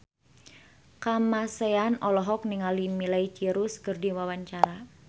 Kamasean olohok ningali Miley Cyrus keur diwawancara